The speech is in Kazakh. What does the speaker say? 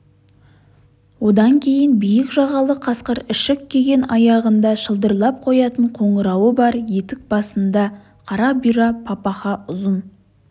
одан кейін биік жағалы қасқыр ішік киген аяғында шылдырлап қоятын қоңырауы бар етік басында қара бұйра папаха ұзын